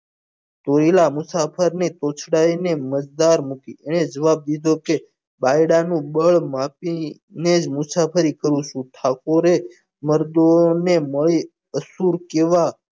ધોયેલા મુસાફરની રોકાઈની મજદદાર મૂકી જવાબ દીધો કે બાયડાનું બળ માફી નેજ મુસાફરી કરું છું ઠાકોરે મર્દોને મળી અસુર કેવા